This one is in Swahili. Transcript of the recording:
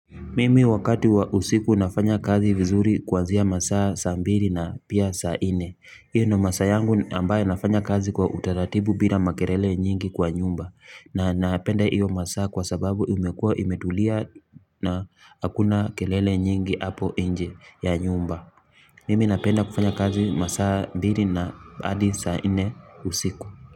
Mimi wakati wa usiku nafanya kazi vizuri kwanzia masaa ya saa mbili na pia saa nne. Iyo ndo masaa yangu ambayo nafanya kazi kwa utaratibu bila makelele nyingi kwa nyumba. Na napenda iyo masaa kwa sababu imekua imetulia na hakuna kelele nyingi hapo inje ya nyumba. Mimi napenda kufanya kazi masaa mbili na hadi saa nne usiku.